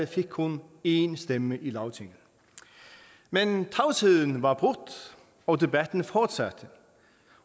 fik kun en stemme i lagtinget men tavsheden var brudt og debatten fortsatte